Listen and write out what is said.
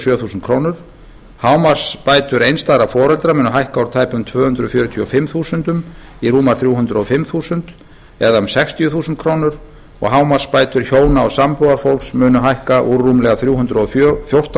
sjö þúsund krónur hámarksbætur einstæðra foreldra munu hækka úr tæpum tvö hundruð fjörutíu og fimm þúsund krónur í rúmar þrjú hundruð og fimm þúsund krónur eða um sextíu þúsund krónur og hámarksbætur hjóna og sambúðarfólks munu hækka úr rúmlega þrjú hundruð og fjórtán